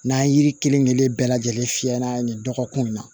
N'an ye yiri kelen kelen bɛɛ lajɛlen fiyɛ n'a ye dɔgɔkun na